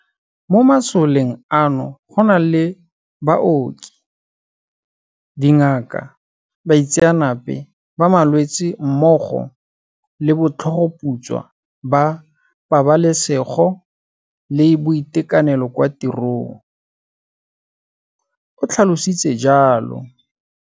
Mo masoleng ano go na le baoki, dingaka, baitseanape ba malwetse mmogo le botlhogoputswa ba pabalesego le boitekanelo kwa tirong, o tlhalositse jalo.